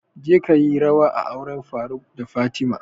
Je kayi rawa a auren faruk da fatima!